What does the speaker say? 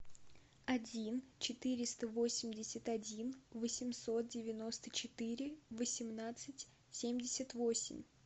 один четыреста восемьдесят один восемьсот девяносто четыре восемнадцать семьдесят восемь